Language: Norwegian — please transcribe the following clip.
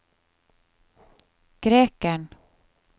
grekeren